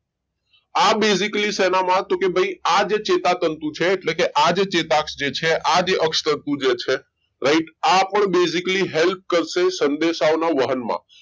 આ basically સેનામાં તો કે ભાઈ આજે ચેતાતંતુ છે એટલે કે આજે ચેતાક્ષ છે આજે અક્ષ તતું જે છે right આપણું basically help કરશે સંદેશાઓના વાહનમાં